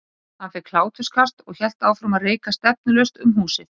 Hann fékk hláturkast og hélt áfram að reika stefnulaust um húsið.